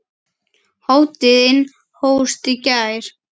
Hátíðin hófst í gær.